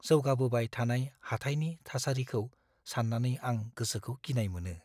जौगाबोबाय थानाय हाथाइनि थासारिखौ साननानै आं गोसोखौ गिनाय मोनो।